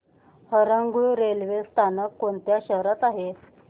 Harangul railway स्थानक कोणत्या शहरात आहे